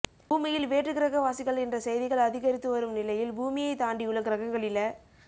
பூமியில் வேற்றுக்கிரகவாசிகள் என்ற செய்திகள் அதிகரித்துவரும் நிலையில் பூமியைத் தாண்டியுள்ள கிரகங்களில